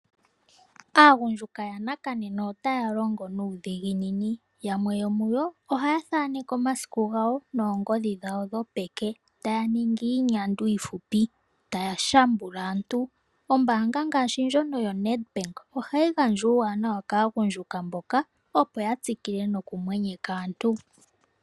Aagundjuka yanakanene otaya longo nuudhiginini, yamwe yomuyo ohaya thaaneke omasiku gawo noongodhi dhawo dhopeke taya ningi iinyandwa iifupi taya shambula aantu. Ombaanga ngaashi ndjono yoNedbank ohayi gandja uuwanawa kaagundjuka mboka opo yatsikile nokumwenyeka aantu.